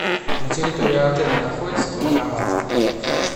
на территории отеля находится банкомат